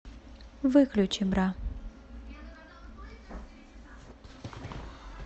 выключи бра